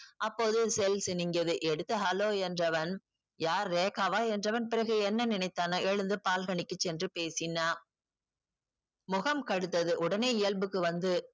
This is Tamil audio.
அப்போது cell சினிங்கியது எடுத்து hello என்றவன் யார் ரேக்காவா என்றவன் பிறகு என்ன நினைத்தானோ எழுந்து பால்கனிக்கு சென்று பேசினான் முகம் கடுத்தது உடனே இயல்புக்கு வந்து